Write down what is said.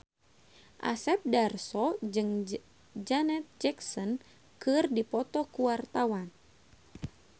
Asep Darso jeung Janet Jackson keur dipoto ku wartawan